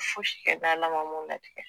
Fosi kɛ n'ALA mun latigɛ.